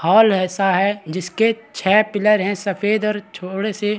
hall ऐसा है जिसके छह पिलर है सफ़ेद और छोड़े से --